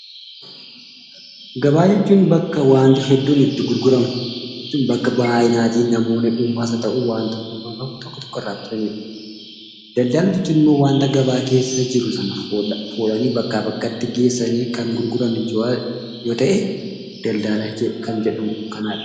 Gabaa jechuun bakka waanti hedduun itti gurguramudha. Bakka namoonni baay'naanis haa ta'u dhuunfaan bitanidha. Daldala jechuun immoo waanta gabaa keessa jiru sana fuudhanii bakkaa bakkatti geessanii kan gurguran jechuudha.